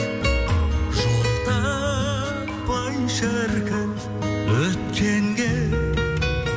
жол таппай шіркін өткенге